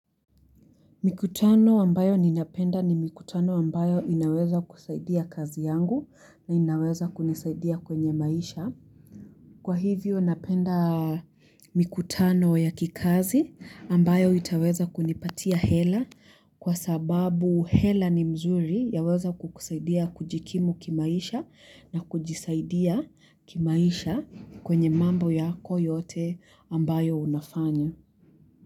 Mikutano ambayo ninapenda ni mikutano ambayo inaweza kusaidia kazi yangu na inaweza kunisaidia kwenye maisha. Kwa hivyo napenda mikutano ya kikazi ambayo itaweza kunipatia hela kwa sababu hela ni mzuri yawezakukusaidia kujikimu kimaisha na kujisaidia kimaisha kwenye mambo yako yote ambayo unafanya.